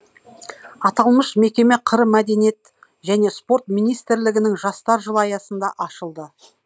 аталмыш мекеме қр мәдениет және спорт министрлігінің жастар жылы аясында ашылды